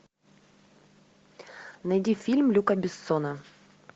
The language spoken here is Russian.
найди фильм люка бессона